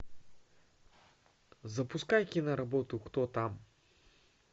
запускай киноработу кто там